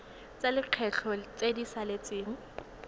tsa lekgetho tse di saletseng